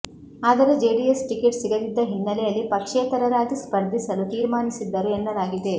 ಆದರೆ ಜೆಡಿಎಸ್ ಟಿಕೆಟ್ ಸಿಗದಿದ್ದ ಹಿನ್ನಲೆಯಲ್ಲಿ ಪಕ್ಷೇತರರಾಗಿ ಸ್ಪರ್ಧಿಸಲು ತೀರ್ಮಾನಿಸಿದ್ದರು ಎನ್ನಲಾಗಿದೆ